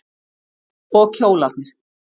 Og kjólarnir.